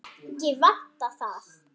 Ekki vantar það.